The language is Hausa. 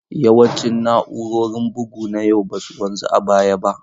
Yawancin na'urorin bugu na yau ba su wanzu a baya ba.